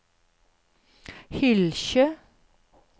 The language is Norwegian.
Hylkje